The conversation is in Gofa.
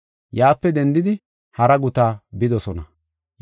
Yaape dendidi hara guta bidosona.